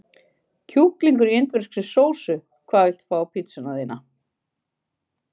Kjúkling í indverskri sósu Hvað vilt þú fá á pizzuna þína?